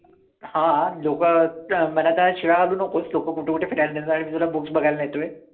हां, लोकं मनात असं शिव्या घालू नकोस, लोकं कुठं कुठं फिरायला नेतात आणि मी तुला books बघायला नेतोय.